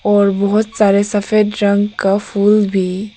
और बहोत सारे सफेद रंग का फूल भी--